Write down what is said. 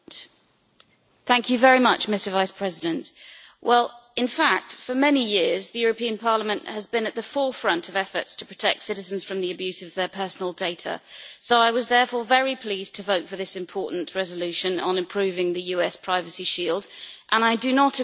Mr President, in fact for many years the European Parliament has been at the forefront of efforts to protect citizens from the abuse of their personal data, so I was therefore very pleased to vote for this important resolution on improving the EU US Privacy Shield, and I do not agree that it is a burden on business.